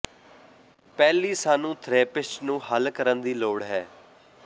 ਪਹਿਲੀ ਸਾਨੂੰ ਥਰੈਪਿਸਟ ਨੂੰ ਹੱਲ ਕਰਨ ਲਈ ਲੋੜ ਹੈ